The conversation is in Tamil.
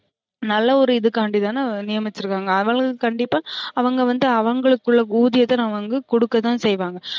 நல்ல ஒரு இதுக்காண்டி தான நியமிச்சிருக்காங்க அவுங்களுக்கு கண்டிப்பா அவுங்க வந்து அவுங்களுக்கு உள்ள ஊதியத்த அவுங்களுக்கு குடுக்கதான் செய்வாங்க